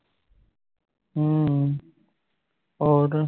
ਅਮ ਓਰ